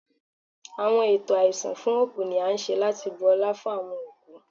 Awọn eto aisun fun oku ni a ṣe lati bu ọla fun awọn okú